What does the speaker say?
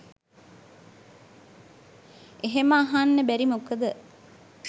එහෙම අහන්න බැරි මොකද